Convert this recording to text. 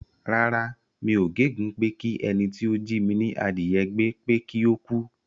Rárá, mi ò gégùn ún pé kí ẹni tí ó jí mi ní adìyẹ gbé pé kí ó kú.